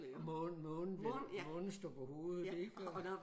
Og månen månen månen står på hovedet ik og